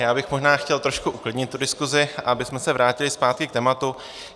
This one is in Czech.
Já bych možná chtěl trošku uklidnit tu diskusi, abychom se vrátili zpátky k tématu.